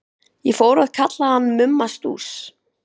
Ég fór að kalla hann Mumma Stúss.